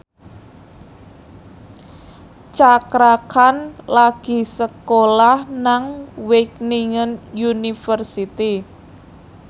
Cakra Khan lagi sekolah nang Wageningen University